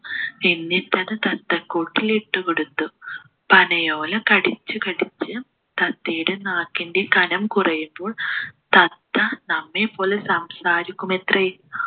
എന്നിട്ടത് തത്തക്കൂട്ടിൽ ഇട്ടു കൊടുത്തു പനയോല കടിച്ചു കടിച്ച് തത്തയുടെ നാക്കിൻ്റെ കനം കുറയുമ്പോൾ തത്ത നമ്മെപ്പോലെ സംസാരിക്കുമത്രേ